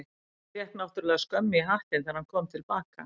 En fékk náttúrlega skömm í hattinn þegar hann kom til baka.